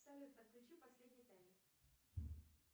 салют отключи последний таймер